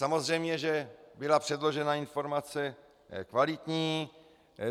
Samozřejmě že byla předložena informace kvalitní.